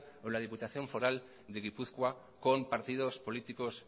o en la diputación foral de gipuzkoa con partidos políticos